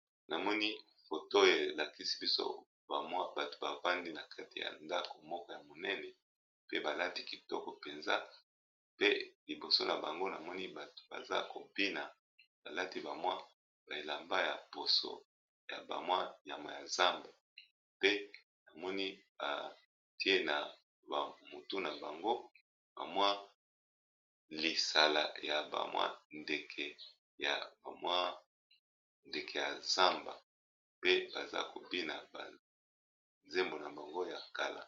Namoni foto elakisi biso bamwa bato bavandi na kati ya ndako moko ya monene pe balati kitoko mpenza, pe liboso na bango namoni bato baza kobina balati bamwa baelamba ya poso ya bamwa yamwa ya zamba, pe namoni batie na mutu na bango bamwa lisala ya bamwa ndeke ya bamwa ndeke ya zamba, pe baza kobina zembo na bango ya kala.